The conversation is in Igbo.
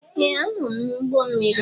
Ee! Anọ m n'ụgbọ mmiri.